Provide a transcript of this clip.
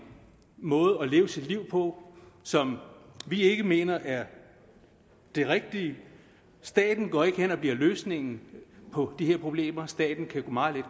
måde at leve sit liv på som vi ikke mener er den rigtige staten går ikke hen og bliver løsningen på de her problemer staten kan meget